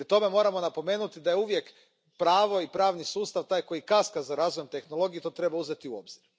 Pri tome moramo napomenuti da je uvijek pravo i pravni sustav taj koji kaska za razvojem tehnologije i to treba uzeti u obzir.